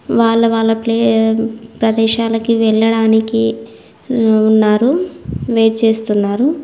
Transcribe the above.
వాళ్ల వాళ్లక్లీ ప్రదేశాలకి వెళ్లడానికి మ్మ్ ఉన్నారు వెయిట్ చేస్తున్నారు.